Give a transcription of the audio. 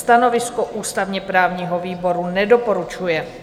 Stanovisko ústavně-právního výboru: nedoporučuje.